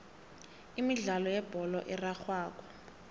imidlalo yebholo erarhwako